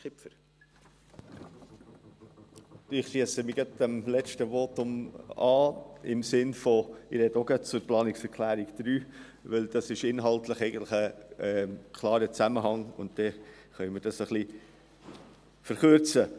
Ich schliesse mich dem letzten Votum an in dem Sinne, dass ich auch gleich zur Planungserklärung 3 sprechen werde, denn inhaltlich besteht ein klarer Zusammenhang, und so können wir etwas abkürzen.